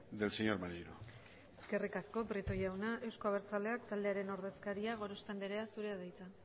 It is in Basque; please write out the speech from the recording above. del señor maneiro eskerrik asko prieto jauna euzko abertzaleak taldearen ordezkaria gorospe anderea zurea da hitza